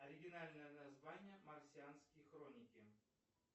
оригинальное название марсианские хроники